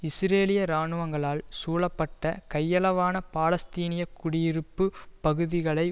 இஸ்ரேலிய இராணுவங்களால் சூழப்பட்ட கையளவான பாலஸ்தீனிய குடியிருப்பு பகுதிகளை